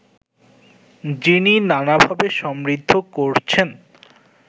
যিনি নানাভাবে সমৃদ্ধ করছেন